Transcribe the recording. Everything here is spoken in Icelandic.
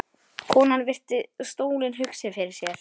Konan virti stólinn hugsi fyrir sér.